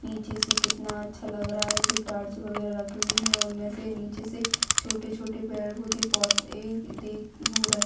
पीछे से कितना अच्छा लग रहा है जो टॉर्च वगैरा रखते हुए हैं उनमे से नीचे से छोटे-छोटे पेड़ पौधे बहुत दिख रहे--